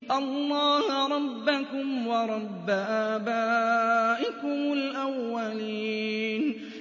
اللَّهَ رَبَّكُمْ وَرَبَّ آبَائِكُمُ الْأَوَّلِينَ